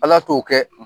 Ala t'o kɛ